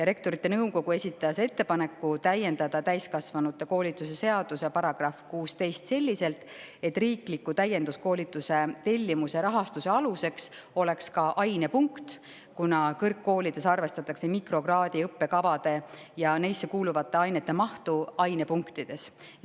Rektorite Nõukogu esitas ettepaneku täiendada täiskasvanute koolituse seaduse § 16 selliselt, et riikliku täienduskoolituse tellimuse rahastuse aluseks oleks ka ainepunkt, kuna kõrgkoolides arvestatakse mikrokraadi õppekavade ja neisse kuuluvate ainete mahtu ainepunktides.